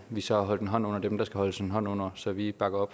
vi så har holdt en hånd under dem der skal holdes en hånd under så vi bakker